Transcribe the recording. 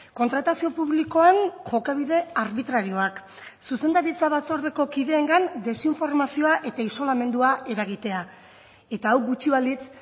kontratazio publikoan jokabide arbitrarioak zuzendaritza batzordeko kideengan desinformazioa eta isolamendua eragitea eta hau gutxi balitz